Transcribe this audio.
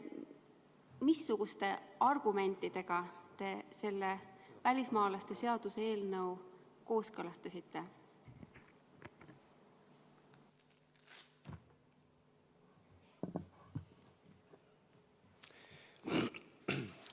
Missugustest argumentidest lähtudes te selle välismaalaste seaduse muutmise eelnõu kooskõlastasite?